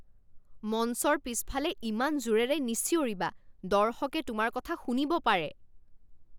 মঞ্চৰ পিছফালে ইমান জোৰেৰে নিচিঞৰিবা। দৰ্শকে তোমাৰ কথা শুনিব পাৰে।